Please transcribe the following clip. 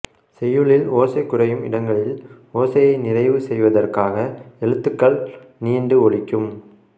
செய்யுளில் ஓசை குறையும் இடங்களில் ஓசையை நிறைவு செய்வதற்காக எழுத்துகள் நீண்டு ஒலிக்கும்